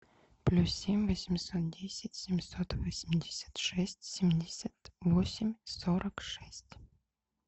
плюс семь восемьсот десять семьсот восемьдесят шесть семьдесят восемь сорок шесть